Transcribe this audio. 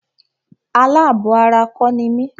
Alábọ̀ ara kọ́ ni mí.